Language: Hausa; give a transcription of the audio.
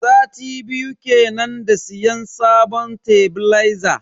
Sati biyu kenan da siyan sabon tebileza.